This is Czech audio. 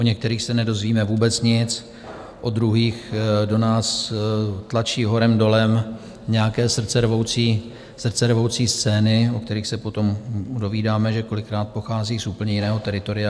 O některých se nedozvíme vůbec nic, o druhých do nás tlačí horem dolem nějaké srdcervoucí scény, o kterých se potom dovídáme, že kolikrát pochází z úplně jiného teritoria.